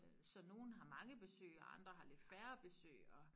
Øh så nogen har mange besøg og andre har lidt færre besøg og